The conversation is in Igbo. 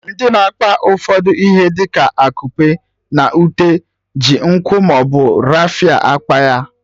Ndị na-akpa ụfọdụ ihe dị ka akupe na ute ji nkwụ maọbụ rafia akpa ya